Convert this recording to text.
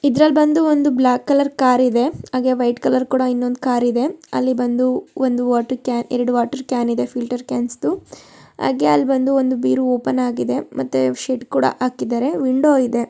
ಇದ್ರಲ್ಲಿ ಬಂದು ಒಂದು ಬ್ಲಾಕ್ ಕಲರ್ ಕಾರಿದೆ ಹಾಗೆ ವೈಟ್ ಕಲರ್ ಕೂಡ ಇನ್ನೊಂದು ಕಾರಿದೆ ಅಲ್ಲಿ ಬಂದು ಒಂದು ವಾಟರ್ ಕ್ಯಾನ್ ಎರಡು ವಾಟರ್ ಕ್ಯಾನ್ ಇದೆ ಫಿಲ್ಟರ್ ಕ್ಯಾನ್ಸ್ದು ಹಾಗೆ ಅಲ್ಲಿ ಒಂದು ಬೀರು ಓಪನ್ ಆಗಿದೆ ಮತ್ತೆ ಶೆಡ್ ಕೂಡ ಹಾಕಿದ್ದಾರೆ ವಿಂಡೋ ಇದೆ.